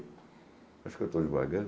Acho que eu estou devagando.